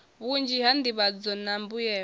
vhunzhi ha nḓivhadzo na mbuyelo